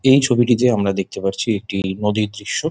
এই ছবিটিতে আমরা দেখতে পারছি একটি নদীর দৃশ্য।